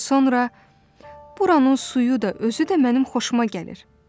Sonra buranın suyu da, özü də mənim xoşuma gəlir.